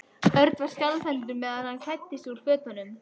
Örn var skjálfhentur meðan hann klæddi sig úr fötunum.